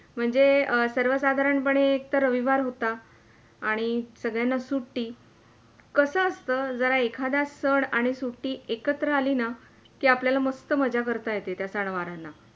म्हणजे सर्व साधारण पणे एकतर रविवार होता आणि सगळ्यांना सुट्टी, कसा असतं जर एखादा सण आणि सुट्टी एकत्र आली न के आपल्याला मस्त मज्जा करता येते त्या सणवारांना.